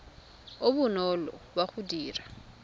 o bonolo wa go dira